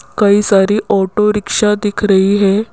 कई सारी auto rickshaw दिख रही है।